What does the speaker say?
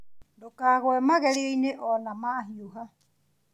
Ndũkagũe magerio-inĩ ona mahiũha